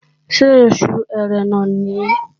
Ṣé Oṣù Ẹrẹ̀nà nìyí?